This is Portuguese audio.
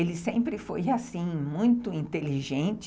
Ele sempre foi muito inteligente.